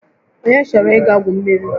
Onye chọrọ ịga gwu mmiri?